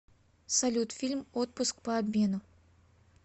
салют фильм отпуск по обмену